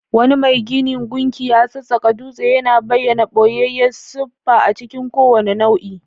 Wani mai gina gunki ya sassaƙa dutse, yana bayyana ɓoyayyen siffa a cikin kowane nau'i.